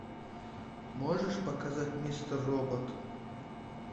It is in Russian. можешь показать мистер робот